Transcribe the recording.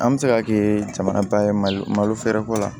An bɛ se ka kɛ jamana ye malo malo feereko la